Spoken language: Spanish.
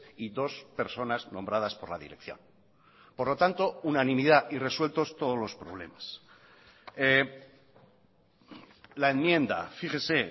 y dos personas nombradas por la dirección por lo tanto unanimidad y resueltos todos los problemas la enmienda fíjese